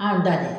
An da dɛ